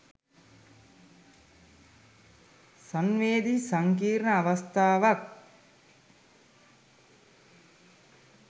සංවේදි සංකීර්ණ අවස්ථාවක්.